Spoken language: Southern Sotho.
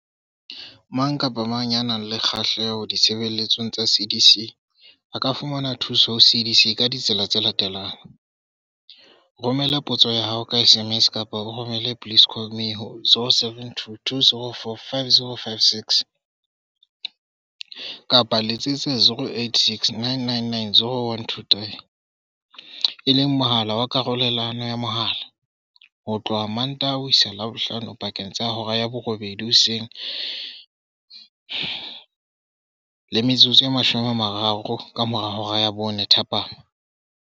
Mang kapa mang ya nang le kgahleho ditshebeletsong tsa CDS a ka fumana thuso ho CDS ka ditsela tse latelang- Romela potso ya hao ka SMS kapa o romele 'please call me' ho 072 204 5056, kapa Letsetsa 086 999 0123, e leng mohala wa karolelano ya mohala, ho tloha Mmantaha ho isa Labohlano pakeng tsa 8:00 hoseng le 4:30 thapama.